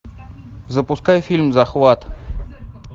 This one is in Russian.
запускай фильм захват